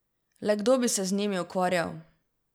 Le kdo bi se z njimi ukvarjal!